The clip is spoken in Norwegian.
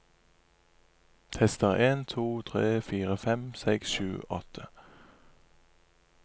Tester en to tre fire fem seks sju åtte